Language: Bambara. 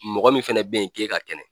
Mɔgɔ min fɛnɛ bɛ ye k'e ka kɛnɛ